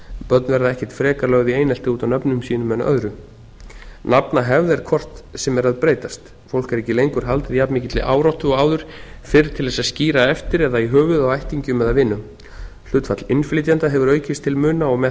börn verða ekkert frekar lögð í einelti út af nöfnum sínum en öðru nafnahefð er hvort sem er að breytast fólk er ekki lengur haldið jafnmikilli áráttu og áður fyrr til þess að skíra eftir eða í höfuðið á ættingjum eða vinum hlutfall innflytjenda hefur aukist til muna og með